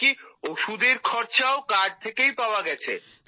এমনকি ওষুধের খরচাও কার্ড থেকেই পাওয়া গেছে